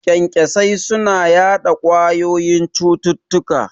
Kyankyasai suna yaɗa ƙwayoyin cututtuka